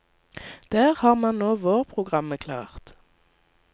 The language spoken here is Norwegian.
Der har man nå vårprogrammet klart.